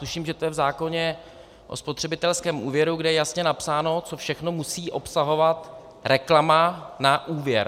Tuším, že to je v zákoně o spotřebitelském úvěru, kde je jasně napsáno, co všechno musí obsahovat reklama na úvěr.